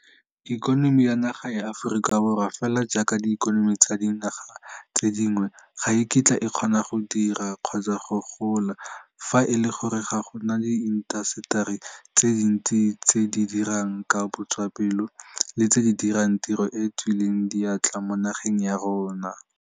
Ikonomi ya naga ya Aforika Borwa, fela jaaka diikonomi tsa dinaga tse dingwe, ga e kitla e kgona go dira, kgotsa gona go gola, fa e le gore ga go na diintaseteri tse dintsi tse di dirang ka botswapelo le tse di dirang tiro e e tswileng diatla mo nageng ya rona.